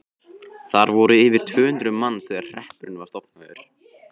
Þar voru yfir tvö hundruð manns þegar hreppurinn var stofnaður.